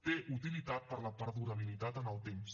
té utilitat per a la perdurabilitat en el temps